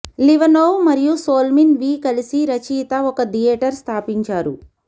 Livanov మరియు Solomin వి కలిసి రచయిత ఒక థియేటర్ స్థాపించారు